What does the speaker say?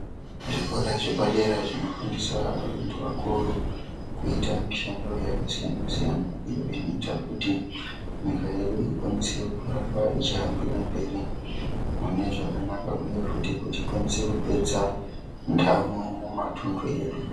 Zvikora zvepa dera zvinofundiswa ngevakuru kuite mishando yakasiyana siyana iyo inoita kuti nyika yedu ikwanise kuramba ichihambira mberi mune zvakanaka uye futhi kuti ikwanise kupedza ndamo mumatundu edu